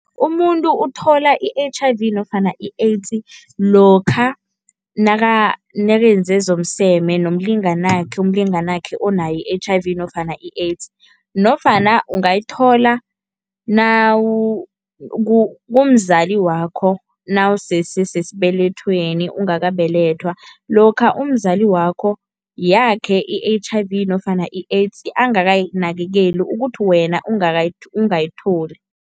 Umuntu uthola i-H_I_V nofana i-AIDS lokha nakenze zomseme nomlinganakhe, umlinganakhe onayo i-H_I_V nofana i-AIDS. Nofana ungayithola kumzali wakho nawusese sesibelethweni ungakabelethwa, lokha umzali wakho yakhe i-H_I_V nofana i-AIDS angakayinakekeli ukuthi wena ungayitholi.